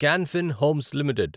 can Fin Homes limited